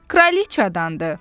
Kraliçadandı.